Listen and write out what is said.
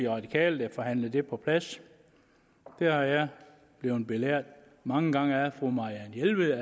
radikale der forhandlede det på plads jeg er blevet belært mange gange af fru marianne jelved